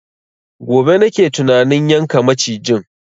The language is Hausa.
Gobe nake tunanin yanka macijin